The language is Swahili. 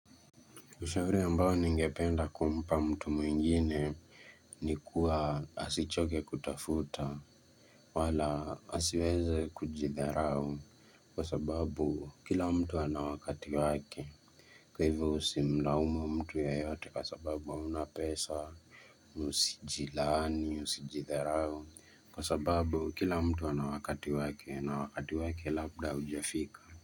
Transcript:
Ushauri ambao ningependa kumpa mtu mwingine, ni kuwa, asichoke kutafuta wala asiweze kujidharau. Kwa sababu kila mtu ana wakati wake. Kwa hivyo usimlaumu mtu yeyote kwa sababu hauna pesa. Usijilaani, usijidharau. Kwa sababu kila mtu ana wakati wake. Na wakati wake labda haujafika.